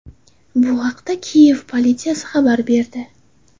Bu haqda Kiyev politsiyasi xabar berdi .